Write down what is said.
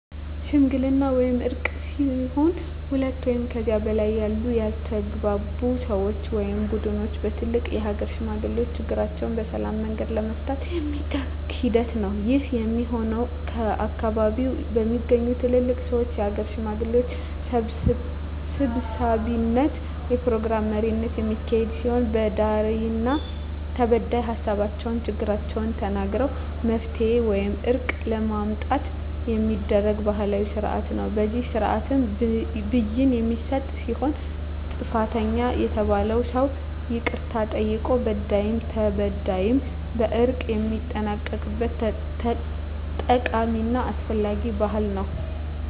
ሽምግልና ወይም እርቅ ሲሆን ሁለት ወይም ከዚያ በላይ ያሉ ያልተግባቡ ሰወች ወይም ቡድኖች በትልልቅ የሀገር ሽማግሌዎች ችግራቸዉን በሰላማዊ መንገድ ለመፍታት የሚደረግ ሂደት ነዉ። ይህም የሚሆን ከአካባቢዉ በሚገኙ ትልልቅ ሰወች(የሀገር ሽማግሌዎች) ሰብሳቢነት(የፕሮግራም መሪነት) የሚካሄድ ሲሆን በዳይና ተበዳይ ሀሳባቸዉን(ችግሮቻቸዉን) ተናግረዉ መፍትሄ ወይም እርቅ ለማምጣት የሚደረግ ባህላዊ ስርአት ነዉ። በዚህ ስርአትም ብይን የሚሰጥ ሲሆን ጥፋተኛ የተባለዉም ሰዉ ይቅርታ ጠይቆ በዳይም ተበዳይም በእርቅ የሚጠናቀቅበት ጠቃሚና አስፈላጊ ባህል ነዉ።